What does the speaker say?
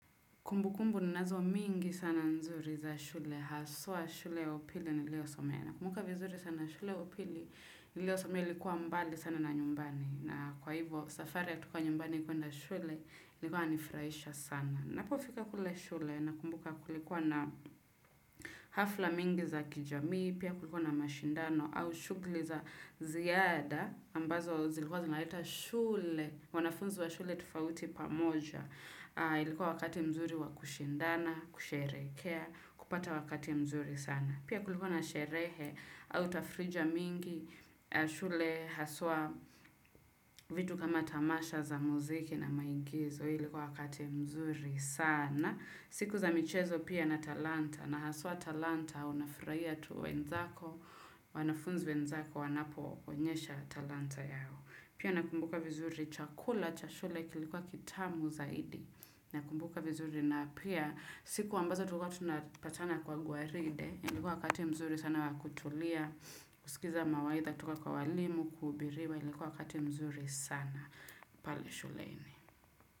Kumbu kumbu ninazo mingi sana nzuri za shule, haswa shule ya upili niliyosomea. Nakumbuka vizuri sana shule ya upili niliyo somea ilikuwa mbali sana na nyumbani. Na kwa hivyo safari ya kutoka nyumbani kwenda shule ilikuwa inanifurahisha sana. Napo fika kule shule nakumbuka kulikuwa na hafla mingi za kijamii, pia kulikuwa na mashindano au shugli za ziada ambazo zilikuwa zinaleta shule, wanafunzi wa shule tofauti pamoja. Ilikuwa wakati mzuri wakushindana, kusherekhea, kupata wakati mzuri sana. Pia kulikuwa na sherekhe, au tafrija mingi, shule haswa vitu kama tamasha za muziki na maigizo Ilikuwa wakati mzuri sana. Siku za michezo pia na talanta, na haswa talanta unafurahia tu wenzako, wanafunzi wenzako wanapo onyesha talanta yao. Pia nakumbuka vizuri chakula, cha shule kilikuwa kitamu zaidi. Nakumbuka vizuri na pia siku ambazo tulikuwa tunapatana kwa gwaride. Ilikuwa wakati mzuri sana wakutulia. Kusikiza mawaidha, toka kwa walimu, kuhubiriwa ilikuwa wakati mzuri sana pale shuleni.